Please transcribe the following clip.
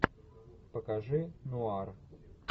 покажи нуар